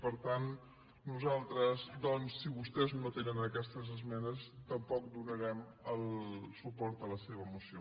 per tant nosaltres doncs si vostès no atenen aquestes esmenes tampoc donarem el suport a la seva moció